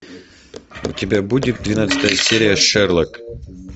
у тебя будет двенадцатая серия шерлок